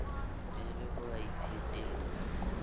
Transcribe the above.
e le ha a iphetetsa